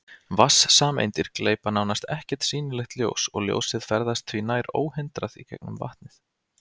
Vatnssameindir gleypa nánast ekkert sýnilegt ljós og ljósið ferðast því nær óhindrað í gegnum vatnið.